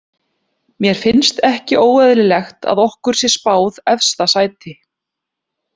Mér finnst ekki óeðlilegt að okkur sé spáð efsta sæti.